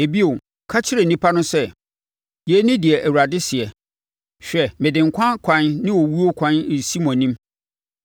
“Ɛbio, ka kyerɛ nnipa no sɛ, ‘Yei ne deɛ Awurade seɛ: Hwɛ mede nkwa ɛkwan ne owuo ɛkwan resi mo anim.